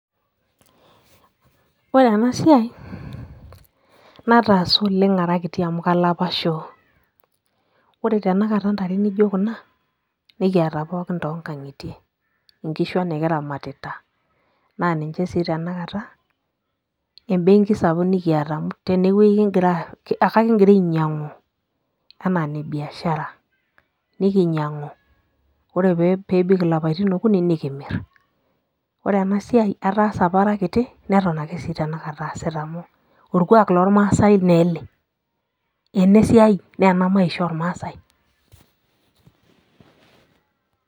Ore enasiai, nataasa oleng ara kiti amu kala apa shoo. Ore tanakata ntare nijo kuna, nikiata pookin tonkang'itie. Inkishu ang nikiramatita, naa ninche si tanakata, ebenki sapuk nikiata amu tenewei kigira, akigira ainyang'u enaa nebiashara. Nikinyang'u, ore pebik ilapaitin okuni, nikimir. Ore enasiai, ataasa apa ara kiti, neton ake si tanakata aasita amu orkuak lormasai neele. Enesiai, nena maisha ormaasai.